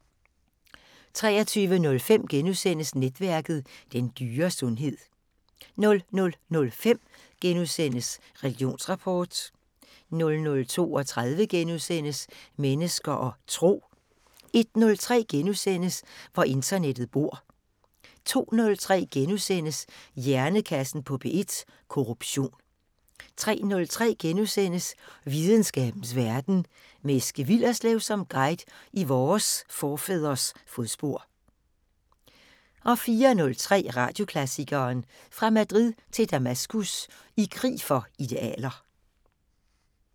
23:05: Netværket: Den dyre sundhed * 00:05: Religionsrapport * 00:32: Mennesker og Tro * 01:03: Hvor internettet bor * 02:03: Hjernekassen på P1: Korruption * 03:03: Videnskabens Verden: Med Eske Willerslev som guide i vores forfædres fodspor * 04:03: Radioklassikeren: Fra Madrid til Damaskus - i krig for idealer